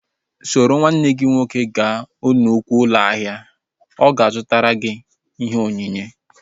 Soro nwanne nna gị nke nwoke gaa nnukwu ụlọ ahịa! Ọ ga-azụtara gị ihe onyinye